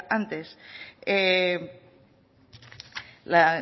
antes